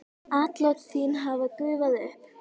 Atlot þín hafa gufað upp.